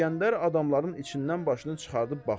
İsgəndər adamların içindən başını çıxarıb baxır.